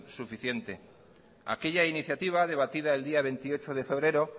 suficiente aquella iniciativa debatida el día veintiocho de febrero